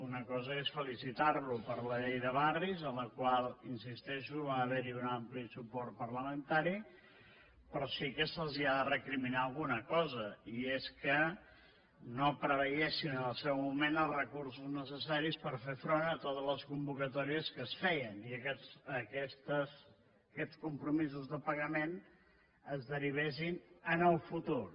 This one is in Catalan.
una cosa és felicitar·lo per la llei de barris a la qual hi insisteixo va haver·hi un ampli suport par·lamentari però sí que se’ls ha de recriminar alguna cosa i és que no preveiessin en el seu moment els re·cursos necessaris per fer front a totes les convocatò·ries que es feien i aquests compromisos de pagament es derivessin en el futur